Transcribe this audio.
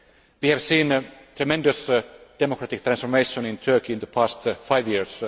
We have seen tremendous democratic transformation in Turkey in the past five years.